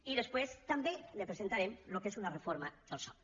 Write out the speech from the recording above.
i després també li presentarem el que és una reforma del soc